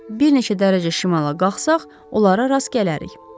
Bir neçə dərəcə şimala qalxsaq onlara rast gələrik.